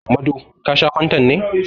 Mado, ka sha fantan ne?